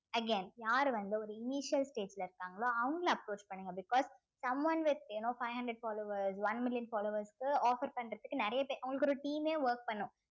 again யாரு வந்து ஒரு stage ல இருக்காங்களோ அவங்கள approach பண்ணுங்க because someone with you know five hundred followers one million followers க்கு offer பண்றதுக்கு நிறைய பேர் அவங்களுக்கு ஒரு team ஏ work பண்ணும்